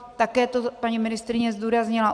Také to paní ministryně zdůraznila.